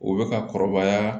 U bɛ ka kɔrɔbaya